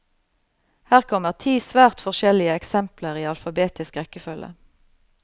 Her kommer ti svært forskjellige eksempler i alfabetisk rekkefølge.